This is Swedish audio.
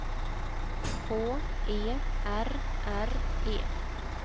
H E R R E